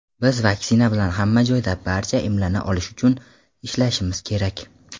Biz vaksina bilan hamma joyda barcha emlana olishi uchun ishlashimiz kerak.